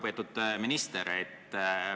Väga lugupeetud minister!